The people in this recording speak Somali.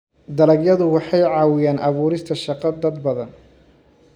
Dalagyadu waxay caawiyaan abuurista shaqo dad badan.